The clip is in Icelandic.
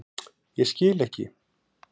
Ég skil ekki.